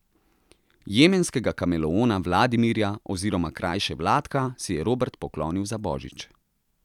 Jemenskega kameleona Vladimirja oziroma krajše Vladka si je Robert poklonil za božič.